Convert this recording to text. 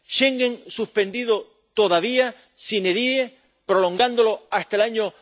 ¿Schengen suspendido todavía, sine díe prolongándolo hasta el año